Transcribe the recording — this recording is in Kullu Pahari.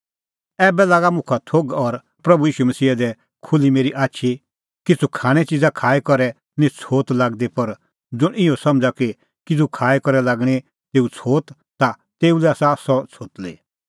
ऐबै लागअ मुखा थोघ और प्रभू ईशू मसीहा दी खुल्ही मेरी आछी किछ़ू खाणैं च़िज़ा खाई करै निं छ़ोत लागदी पर ज़ुंण इहअ समझ़ा कि किज़ू खाई करै लागणीं तेऊ छ़ोत ता तेऊ लै आसा सह छ़ोतली